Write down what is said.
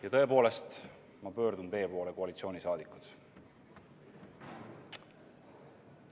Ja tõepoolest, ma pöördun teie poole, koalitsiooni liikmed.